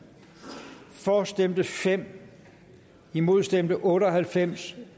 for stemte fem imod stemte otte og halvfems